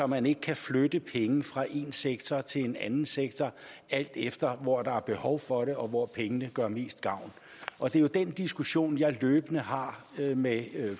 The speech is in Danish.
man ikke kan flytte penge fra én sektor til en anden sektor alt efter hvor der er behov for det og hvor pengene gør mest gavn og det er jo den diskussion jeg løbende har med